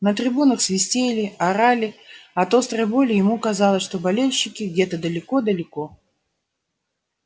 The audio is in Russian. на трибунах свистели орали от острой боли ему казалось что болельщики где-то далеко-далеко